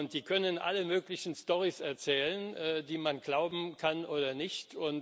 Die können alle möglichen Storys erzählen, die man glauben kann oder nicht.